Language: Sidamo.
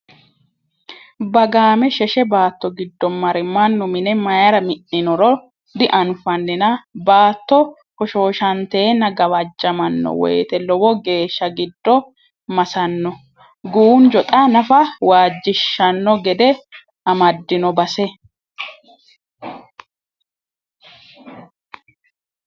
Bagame sheshe baatto giddo marre mannu mine mayra mi'ninoro dianfaninna baatto hoshoshatenna gawajamano woyte lowo geeshsha giddo massano, guunjo xa nafa waajjishshano gede amadino base.